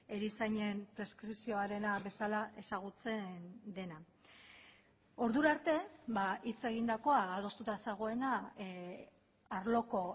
erizainen preskripzioarena bezala ezagutzen dena ordura arte hitz egindakoa adostuta zegoena arloko